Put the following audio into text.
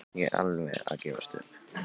Ég er alveg að gefast upp.